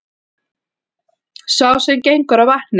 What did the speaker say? Sá sem gengur á vatni,